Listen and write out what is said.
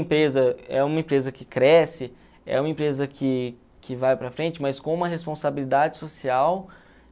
Empresa, é uma empresa que cresce, é uma empresa que que vai para frente, mas com uma responsabilidade social